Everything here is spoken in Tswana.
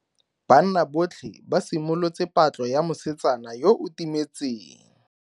Banna botlhe ba simolotse patlo ya mosetsana yo o timetseng.